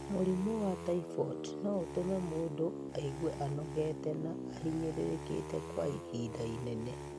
Mũrimũ wa typhoid no ũtũme mũndũ aigue anogete na ahinyĩrĩrĩkite kwa ihinda inene.